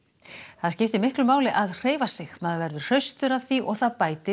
það skiptir miklu máli að hreyfa sig maður verður hraustur af því og það bætir